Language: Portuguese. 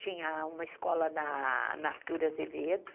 Tinha uma escola na Artur Azevedo.